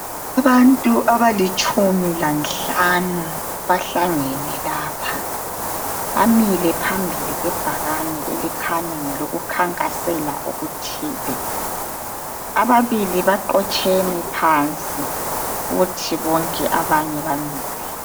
Abantu abalitshumi lanhlanu bahlangene lapha bamile phambili kwebhakane elikhanya ngelokukhankasela okuthile ababili baqotsheme phansi kuthi bonke abanye bamile